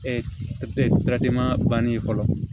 banni ye fɔlɔ